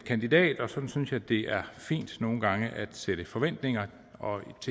kandidat og sådan synes jeg det er fint nogle gange at sætte forventninger og